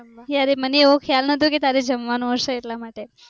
યાર મને એવો ખ્યાલ નહોતો કે તારે જમવાનું હશે એટલા માટે.